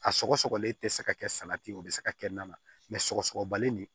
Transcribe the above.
A sɔgɔsɔgɔlen tɛ se ka kɛ salati o bɛ se ka kɛ naaninan sɔgɔsɔgɔbalen de